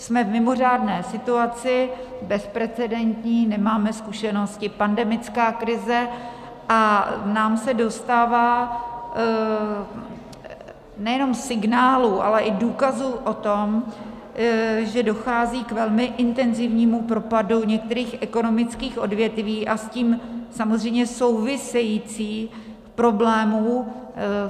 Jsme v mimořádné situaci, bezprecedentní, nemáme zkušenosti, pandemická krize, a nám se dostává nejenom signálů, ale i důkazů o tom, že dochází k velmi intenzivnímu propadu některých ekonomických odvětví a s tím samozřejmě související problémy.